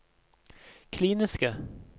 kliniske